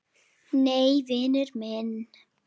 Nei, vinur minn!